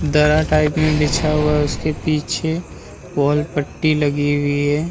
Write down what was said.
दरा टाइप में बिछा हुआ है उसके पीछे वॉल पट्टी लगी हुई है ।